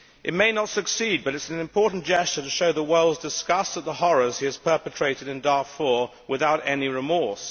It may not succeed, but it is an important gesture to show the world's disgust at the horrors he has perpetrated in Darfur without any remorse.